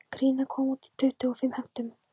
Gríma kom út í tuttugu og fimm heftum